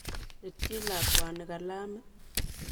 Lityi lakwani kalamit.